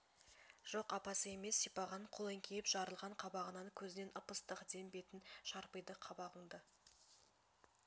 жоқ апасы емес сипаған қол еңкейіп жарылған қабағынан көзінен ып-ыстық дем бетін шарпиды қабағыңды